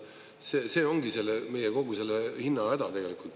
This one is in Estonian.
See ongi meie kogu selle hinna häda.